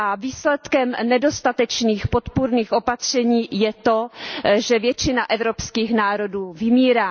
Výsledkem nedostatečných podpůrných opatření je to, že většina evropských národů vymírá.